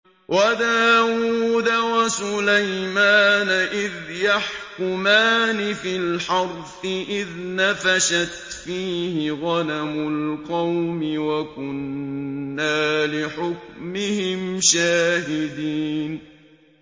وَدَاوُودَ وَسُلَيْمَانَ إِذْ يَحْكُمَانِ فِي الْحَرْثِ إِذْ نَفَشَتْ فِيهِ غَنَمُ الْقَوْمِ وَكُنَّا لِحُكْمِهِمْ شَاهِدِينَ